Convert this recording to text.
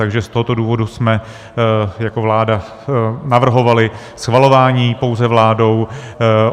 Takže z tohoto důvodu jsme jako vláda navrhovali schvalování pouze vládou.